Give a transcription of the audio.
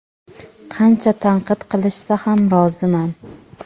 qancha tanqid qilishsa ham roziman.